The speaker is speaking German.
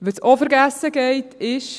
Was auch vergessen geht, ist: